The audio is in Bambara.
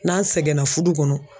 N'an sɛgɛnna fudu kɔnɔ